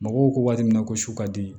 Mɔgɔw ko waati min na ko su ka di